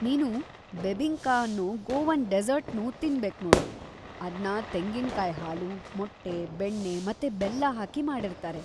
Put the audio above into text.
ನೀನು ಬೆಬಿಂಕಾ ಅನ್ನೋ ಗೋವನ್‌ ಡೆಸರ್ಟ್‌ನೂ ತಿನ್ಬೇಕ್ನೋಡು, ಅದ್ನ ತೆಂಗಿನ್ಕಾಯ್ ಹಾಲು, ಮೊಟ್ಟೆ, ಬೆಣ್ಣೆ ಮತ್ತೆ ಬೆಲ್ಲ ಹಾಕಿ ಮಾಡಿರ್ತಾರೆ.